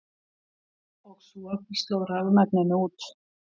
Og svo sló rafmagninu út.